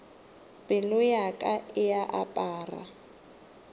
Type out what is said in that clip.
pelo ya ka e apara